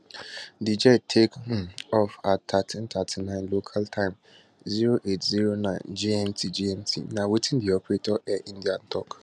di jet take um off at 1339 local time 0809 gmt gmt na wetin di operator air india tok